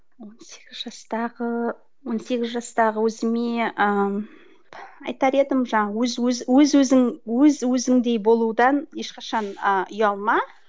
он сегіз жастағы он сегіз жастағы өзіме ыыы айтар едім жаңағы өз өзіңдей болудан ешқашан ы ұялма